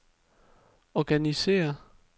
organisér